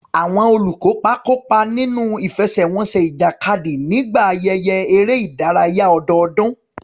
Àwọn olùkópa kópa nínú ìfẹsẹ̀wọnsẹ̀ ìjàkadì nígbà ayẹyẹ eré ìdárayá ọdọọdún.